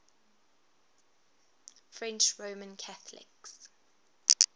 french roman catholics